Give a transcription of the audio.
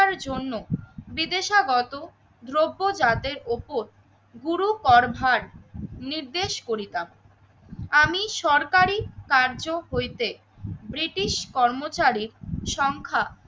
রক্ষার জন্য বিদেশাগত দ্রব্য জাতের ওপর গুরু কর ভার নির্দেশ করিতাম। আমি সরকারি কার্য হইতে ব্রিটিশ কর্মচারী সংখ্যা